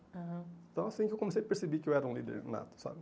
Então, assim que eu comecei a perceber que eu era um líder nato, sabe? Aham.